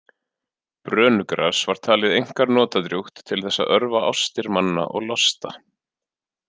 Brönugras var talið einkar notadrjúgt til þess að örva ástir manna og losta.